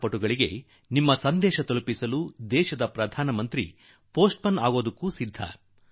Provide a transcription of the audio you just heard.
ಈ ಆಟಗಾರರಿಗೆ ನಿಮ್ಮ ಸಂದೇಶ ತಲುಪಿಸಲು ದೇಶದ ಪ್ರಧಾನಮಂತ್ರಿ ಪೆÇೀಸ್ಟ್ ಮನ್ ಆಗಲು ಸಿದ್ಧ